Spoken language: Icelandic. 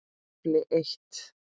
KAFLI EITT